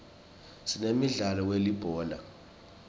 sinemdlalo welibhola